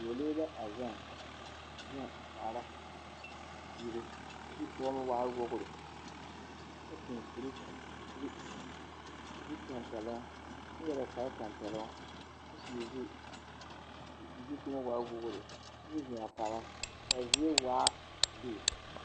Dͻͻlee la a gaŋe, a gaŋe a kaara ziire, kyoo zukͻͻloŋ waa wogiri kyԑ seԑ o kuri, kuri, kuri tampԑloŋ kyԑ yere o kpare tampԑloŋ koo zu, o zukͻͻma waa wogiri kyoo zeŋ a kaara a zie waa lige.